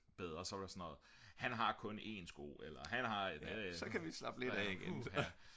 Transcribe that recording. bedre så var det sådan noget han har kun en sko